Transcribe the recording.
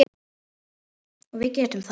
Og við getum það.